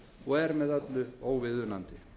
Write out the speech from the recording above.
og er með öllu óviðunandi